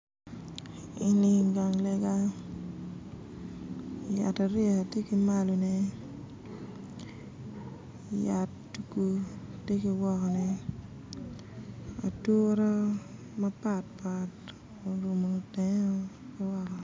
Eni gang lega yat ariya tye ki malone yat tugu tye ki wokone ature mapatpat orumo tenge woko